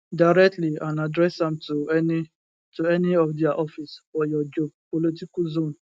directly and address am to any to any of dia office for your geopolitical zone